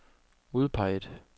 udpeget